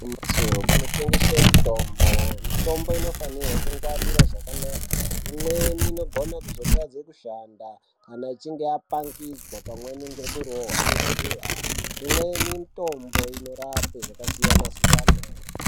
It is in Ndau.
Igwinyiso kunotengeswa mitombo mitombo inofanirwa kungwarirwa zvakanaka imweni inogona kuzotadza kushanda kana ichinge yapangidzwa pamweni nekurohwa nezuwa imweni yemitombo inorapa zvakasiyana siyana.